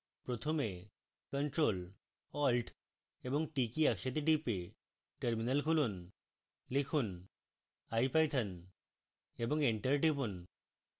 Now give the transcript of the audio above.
প্রথমে ctrl + alt + t কী একসাথে টিপে terminal খুলুন লিখুন ipython3 এবং এন্টার টিপুন